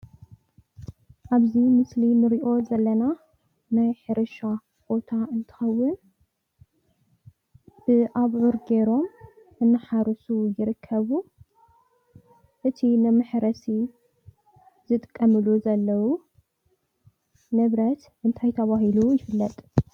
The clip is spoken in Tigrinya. ኣብዚ ምስሊ ንሪኦ ዘለና ናይ ሕርሻ ቦታ እንትኸውን ብኣቡዑር ጌሮም እናሓረሱ ዝርከቡ እቲ ንመሕረሲ ዝጥቀምሉ ዘለው ንብረት እንታይ ተበሂሉ ይፍለጥ?